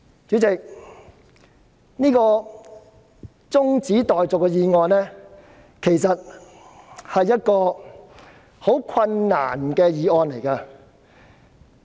主席，這項中止待續議案其實是一項很困難的議案。